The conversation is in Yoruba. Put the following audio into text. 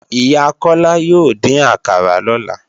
Ìyá Kọ́lá yóò dín àkàrà lọ́la